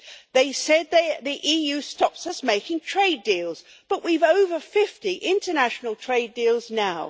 They said that the EU stops us making trade deals, but we have over 50 international trade deals now.